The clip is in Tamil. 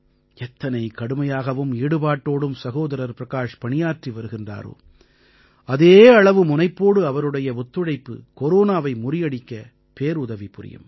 எத்தனை கடுமையாகவும் ஈடுபாட்டோடும் சகோதரர் பிரகாஷ் பணியாற்றி வருகின்றாரோ அதே அளவு முனைப்போடு அவருடைய ஒத்துழைப்பு கொரோனாவை முறியடிக்க பேருதவி புரியும்